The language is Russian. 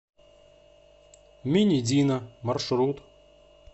минидино маршрут